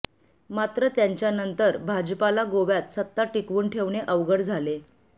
मात्र त्यांच्यानंतर भाजपाला गोव्यात सत्ता टीकवून ठेवणे अवघड झाले